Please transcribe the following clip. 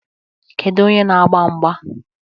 Kedu onye na-agba mgba?